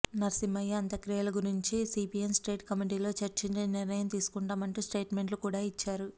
నర్సింహయ్య అంత్యక్రియల గురించి CPM state కమిటీలో చర్చించి నిర్ణయం తీసుకుంటామంటూ స్టేట్మెంట్లు కూడా ఇచ్చారు